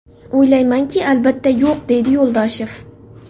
O‘ylaymanki, albatta, yo‘q”, deydi Yo‘ldoshev.